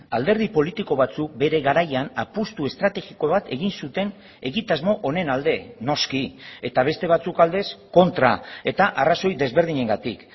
alderdi politiko batzuk bere garaian apustu estrategiko bat egin zuten egitasmo honen alde noski eta beste batzuk aldez kontra eta arrazoi desberdinengatik